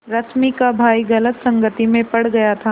रश्मि का भाई गलत संगति में पड़ गया था